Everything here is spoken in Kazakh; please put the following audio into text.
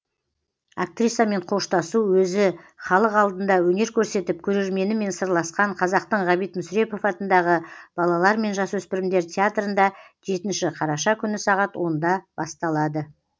актрисамен қоштасу өзі халық алдында өнер көрсетіп көрерменімен сырласқан қазақтың ғабит мүсірепов атындағы балалар мен жасөспірімдер театрында жетінші қараша күні сағат онда басталады